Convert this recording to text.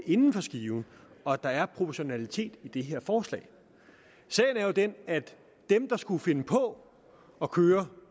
inden for skiven og at der er proportionalitet i det her forslag sagen er jo den at dem der skulle finde på at køre